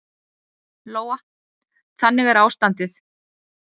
Lóa: Þannig að ástandið er verra en tölurnar gefa til kynna?